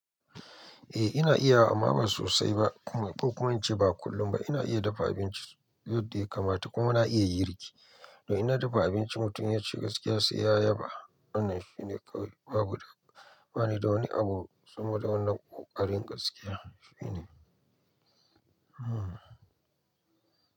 Eh ina iya wa amma ba sosai ba. Ko kuma ince ba kullum ba. Ina iya dafa abinci yadda ya kamata kuma ina iya yin girki. To inna dafa abinci mutum ya ci gaskiya sai ya yaba. Wannan shi ne kawai babu da bani da wani abu saboda wannan ƙoƙarin gaskiya shine. Hmm.